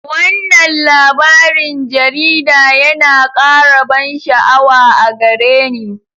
Wannan labarin jarida yana ƙara ban sha'awa a gare ni.